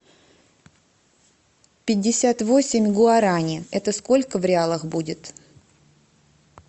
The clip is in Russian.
пятьдесят восемь гуарани это сколько в реалах будет